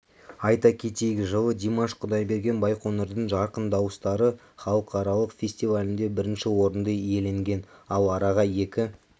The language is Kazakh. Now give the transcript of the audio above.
айта кетейік жылы димаш құдайберген байқоңырдың жарқын дауыстары халықаралық фестивалінде бірінші орынды иеленген ал араға екі